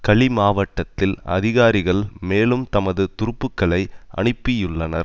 கலி மாவட்டத்தில் அதிகாரிகள் மேலும் தமது துருப்புக்களை அனுப்பியுள்ளனர்